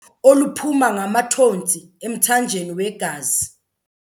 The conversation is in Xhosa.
oluphuma ngamathontsi emthanjeni wegazi.